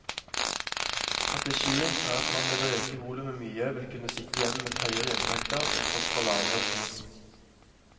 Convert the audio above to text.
Strategien er at man ved å øke volumet mye vil kunne sitte igjen med høyere inntekter til tross for lavere pris.